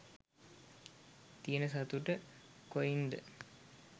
තියන සතුට කොයින්ද?